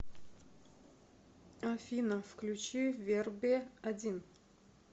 афина включи верби один